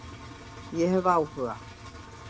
Ég hef áhuga,